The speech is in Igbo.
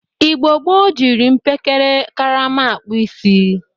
Igbo gboo jiri mpekere karama akpụ isi.